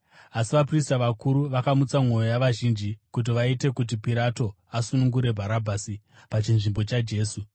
Asi vaprista vakuru vakamutsa mwoyo yavazhinji kuti vaite kuti Pirato asunungure Bharabhasi pachinzvimbo chaJesu.